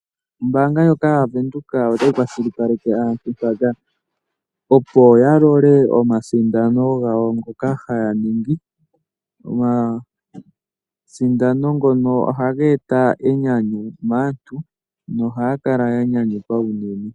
Ombaanga ndjoka yaVenduka otayi kwashilipaleke aantu opo yalole omasindano gawo ngoka haya ningi. Omasindano ngoka ohaga e ta enyanyu maantu na ohaya kala yanyanyukwa unene.